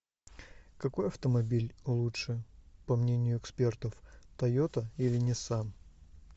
какой автомобиль лучше по мнению экспертов тойота или нисан